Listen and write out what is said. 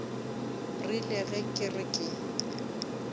rile ge ke re ke